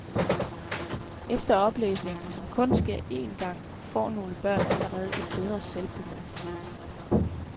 Efter oplæsningen, som kun sker en gang, får nogle børn allerede et bedre selvbillede.